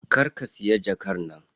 Kar ka siya jakar nan.